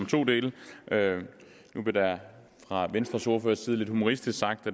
to dele nu blev der fra venstres ordførers side lidt humoristisk sagt